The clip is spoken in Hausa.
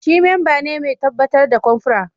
Shi memba ne mai tabbatar da confra